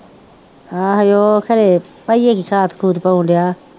ਆਹ ਉਹ ਖਰੇ